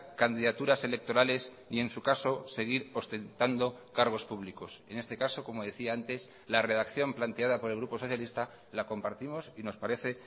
candidaturas electorales y en su caso seguir ostentando cargos públicos en este caso como decía antes la redacción planteada por el grupo socialista la compartimos y nos parece